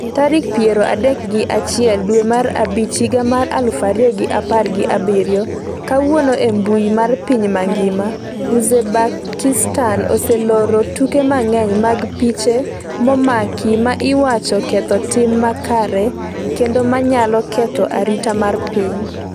tarik piero adek gi achiel dwe mar abich higa mar aluf ariyo gi apar gi abiriyo. Kawuono e mbui mar piny mangima: Uzbekistan oseloro tuke mang’eny mag piche momaki ma iwacho ketho tim makare kendo ma nyalo ketho arita mar piny.